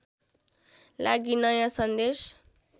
लागि नयाँ सन्देश